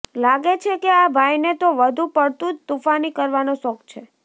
લાગે છે કે આ ભાઈને તો વધુ પડતું જ તુફાની કરવાનો શોખ છે